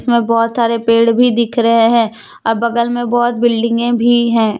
बहोत सारे पेड़ भी दिख रहे हैं बगल में बहोत बिल्डिंगे भी हैं।